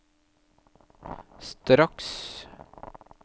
straks